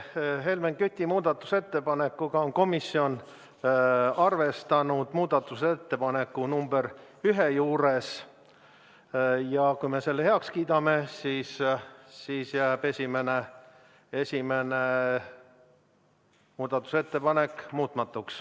Selle Helmen Küti muudatusettepanekuga on komisjon arvestanud muudatusettepaneku nr 1 juures ja kui me selle heaks kiidame, siis jääb esimene muudatusettepanek muutmatuks.